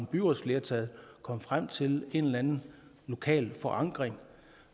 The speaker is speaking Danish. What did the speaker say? byrådsflertal kommet frem til en eller anden lokal forankring